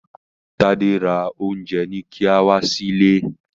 Tade rà Oúnjẹ-ní-kíá wá sí ìlé.